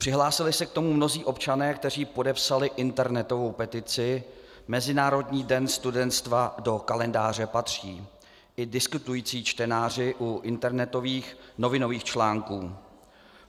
Přihlásili se k tomu mnozí občané, kteří podepsali internetovou petici Mezinárodní den studentstva do kalendáře patří, i diskutující čtenáři u internetových novinových článků.